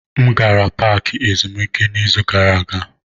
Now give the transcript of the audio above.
M gara paaki ezumike n'izu gara aga.